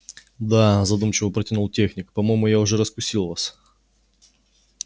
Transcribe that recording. да задумчиво протянул техник по-моему я уже раскусил вас